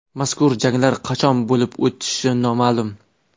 Mazkur janglar qachon bo‘lib o‘tishi noma’lum.